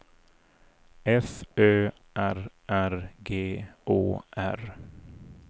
F Ö R R G Å R